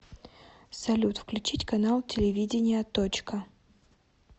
салют включить канал телевидения точка